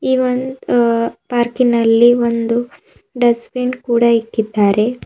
ಈ ಒಂದು ಪಾರ್ಕಿನಲ್ಲಿ ಒಂದು ಡಸ್ಟ್ ಬಿನ್ ಕೂಡ ಇಕ್ಕಿದ್ದಾರೆ.